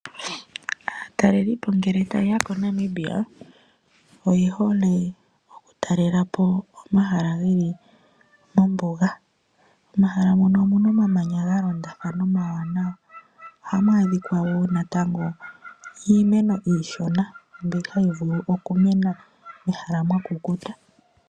Aatalelipo ngele tayeya koNamibia oyehole okutalelapo omahala ngeli mombuga, momahala mono omuna omamanya galondatha omawanawa. Oha mu adhika wo natango iimeno iishona mbi hayi vulu okumena mehala mwakukuta.